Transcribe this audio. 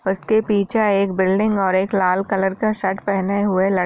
उसके के पीछे एक बिल्डिंग और एक लाल कलर का शर्ट पहने हुए ल --